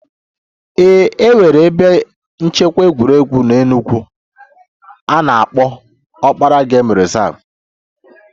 Ee e nwere ebe nchekwa egwuregwu n'Enugwu a na-akpọ Okpara game reserve